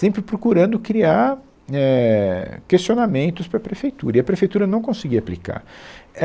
sempre procurando criar, éh, questionamentos para a prefeitura, e a prefeitura não conseguia aplicar.